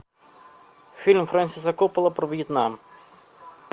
фильм фрэнсиса копполы про вьетнам